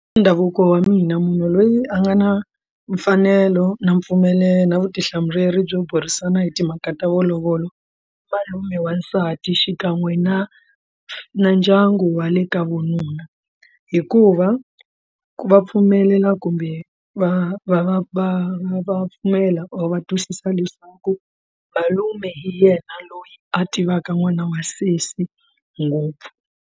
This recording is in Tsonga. Ndhavuko wa mina munhu loyi a nga na mfanelo na mpfumelelo na vutihlamuleri byo burisana hi timhaka ta malovolo malume wansati xikan'we na na ndyangu wa le ka vununa hikuva va pfumelela kumbe va va va va va pfumela or va twisisa leswaku malume hi yena loyi a tivaka n'wana wa sesi ngopfu.